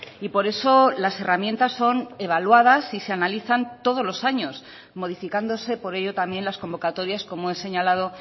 y por eso las herramientas son evaluadas y se analizan todos los años modificándose por ello también las convocatorias como he señalado